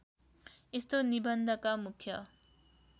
यस्तो निबन्धका मुख्य